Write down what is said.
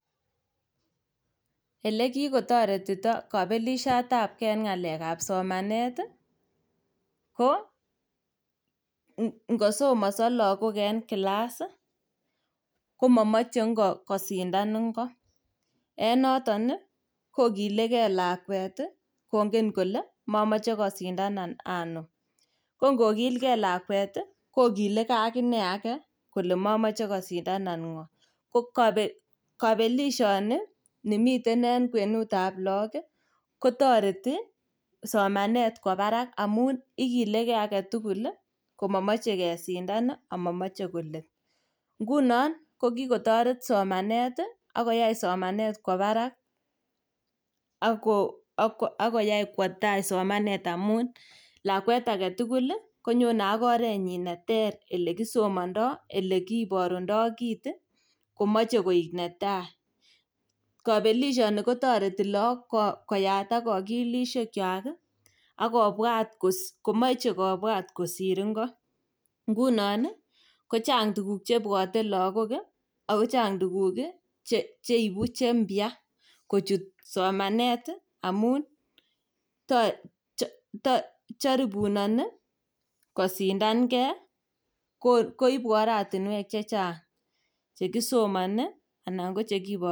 Elekikotoretito kobelisiotabgei en ng'alekab somanet ii ko ingosomoso logok en kilas ii komomoche ingo kosindan ingo en noton ii kokilegei lakwet ii kongen kole momoche kosindanan anum. Kongokilkei lakwet ii kokilegei agine age kole momoche kosindanan ng'o. Ko kopelishoni nemiten en kwenutab logok kotoreti somanet kwo barak amun ikilegei agetugul komomoche kesindan omomoche kolet. Ngunon kokikotoret somanet ii ak koyai somanet kwo barak ako ak koyai kwo tai somanet amun lakwet agetukul konyone ak orenyin neter elekisomondo, elekiborundoi kit ii komoche koik netai. Kobelishoni kotoreti logok koyatak okilisiekwak ak kobwat kos komoche kobwat kosir ngo. Ngunon ii kochang' tuguk chebwote logok ii ako kochang' tuguk cheibu cheimpya kochut somanet amun um joribunoni kosindangei ko koibu oratinwek chechang' chekisomi anan kochekiboru.